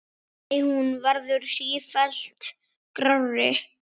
Nei, hún verður sífellt grárri.